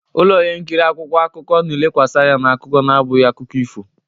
Ụlọ ihe nkiri akwụkwọ akụkọ na-elekwasị anya na akụkọ na-abụghị akụkọ ifo.